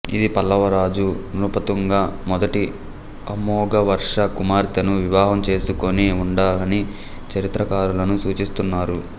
ఇది పల్లవ రాజు నృపతుంగ మొదటి అమోఘవర్ష కుమార్తెను వివాహం చేసుకుని ఉండాలని చరిత్రకారులను సూచిస్తున్నారు